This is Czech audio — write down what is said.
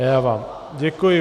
Já vám děkuji.